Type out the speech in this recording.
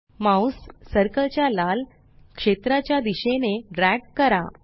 mouse circle च्या लाल क्षेत्राच्या च्या दिशेने ड्रॅग करा